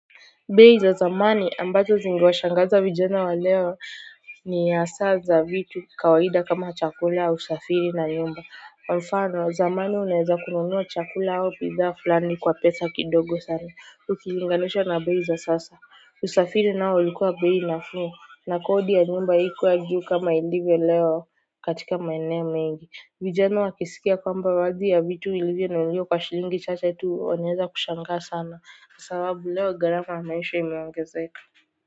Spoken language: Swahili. Bei za zamani ambazo zingewashangaza vijana wa leo ni hasaa za vitu kawaida kama chakula usafiri na nyumba kwa mfano zamani unaeza kununua chakula au bidhaa fulani kwa pesa kidogo sana ukilinganisha na bei za sasa usafiri nao ulikuwa bei nafuu na kodi ya nyumba ikuwa juu kama ilivyo leo katika maeneo mengi vijana wakisikia kwamba baadhi ya vitu ilivyo nunuliwa kwa shilingi chache tu wanaeza kushangaa sana sababu leo garama ya maisha imeongezeka.